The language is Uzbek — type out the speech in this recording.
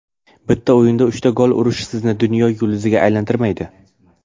Bitta o‘yinda uchta gol urish sizni dunyo yulduziga aylantirmaydi.